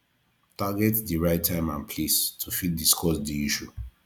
target di right time and place to fit discuss di issue